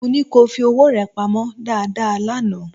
Mó ní kí o fi owó rẹ pamọ́ dáadáa lánàá